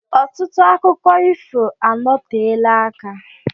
Ọtụtụ akụkọ ifo anọteela aka.